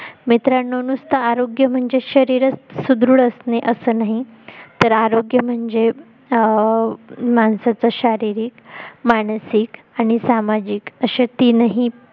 मित्रांनो नुस्त आरोग्य म्हणजे शरीरच सुदृढ असणे असं नाही तर आरोग्य म्हणजे अं माणसाचं शारीरिक, मानसिक आणि सामाजिक असे तीनही